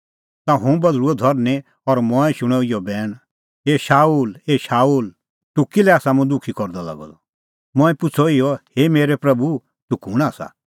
ता हुंह बधल़ुअ धरनीं और मंऐं शूणअ इहअ बैण ए शाऊल ए शाऊल तूह किल्है आसा मुंह दुखी करदअ लागअ द मंऐं पुछ़अ इहअ हे प्रभू तूह कुंण आसा